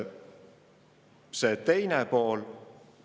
Küsimuse teine pool.